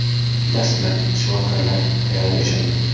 Dastlab shifokorlar ayolga ishongan.